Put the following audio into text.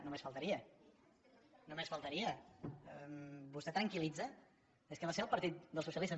només faltaria només faltaria vostè tranquil·litza és que va ser el partit dels socialistes